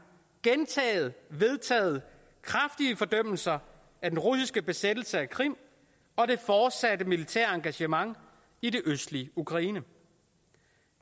vedtaget kraftige fordømmelser af den russiske besættelse af krim og det fortsatte militære engagement i det østlige ukraine